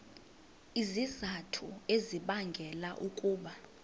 izizathu ezibangela ukuba